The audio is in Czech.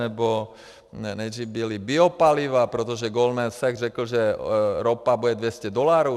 Nebo nejdřív byla biopaliva, protože Goldman Sachs řekl, že ropa bude 200 dolarů.